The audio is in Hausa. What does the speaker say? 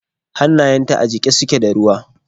Hannayenta a jike suke da ruwa.